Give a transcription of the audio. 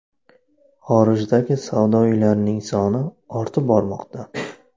Xorijdagi savdo uylarining soni ortib bormoqda.